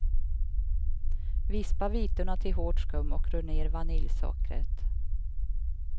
Vispa vitorna till hårt skum och rör ner vaniljsockret.